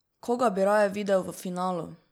Koga bi raje videl v finalu?